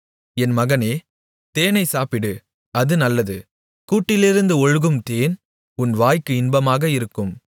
என் மகனே தேனைச் சாப்பிடு அது நல்லது கூட்டிலிருந்து ஒழுகும் தேன் உன் வாய்க்கு இன்பமாக இருக்கும்